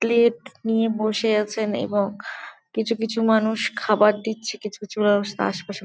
plate নিয়ে বসে আছেন এবং কিছু কিছু মানুষ খাবার দিচ্ছে কিছু কিছু ব্যাবস্থা আশেপাশে--